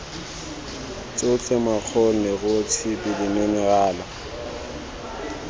tsotlhe makgong leruo tshipi diminerala